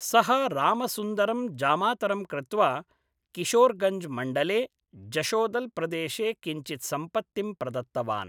सः रामसुन्दरं जामातरं कृत्वा किशोरगञ्ज् मण्डले जशोदल् प्रदेशे किञ्चित् सम्पत्तिं प्रदत्तवान्।